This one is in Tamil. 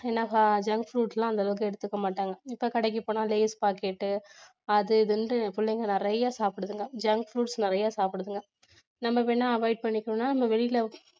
junk foods எல்லாம் அந்தளவுக்கு எடுத்துக்கமாட்டாங்க இப்ப கடைக்கு போனா லேஸ் packet அது இதுனிட்டு பிள்ளைங்க நிறைய சாப்பிடுதுங்க junk foods நிறைய சாப்பிடுதுங்க நம்ம வேணா avoid நம்ம வெளியில